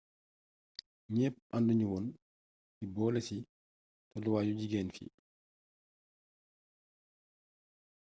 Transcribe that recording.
ñepp anduñu woon ci boolési tollu waayu jigeen ñi